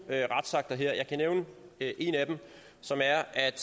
retsakter her og jeg kan nævne en af dem som er at